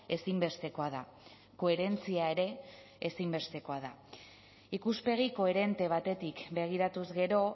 ezinbestekoa da koherentzia ere ezinbestekoa da ikuspegi koherente batetik begiratuz gero